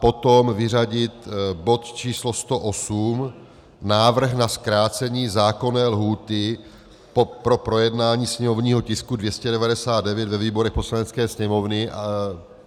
Potom vyřadit bod číslo 108 - Návrh na zkrácení zákonné lhůty po projednání sněmovního tisku 299 ve výborech Poslanecké sněmovny.